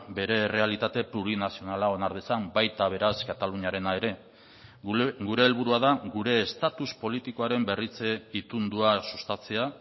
bere errealitate plurinazionala onar dezan baita beraz kataluniarena ere gure helburua da gure estatus politikoaren berritze itundua sustatzea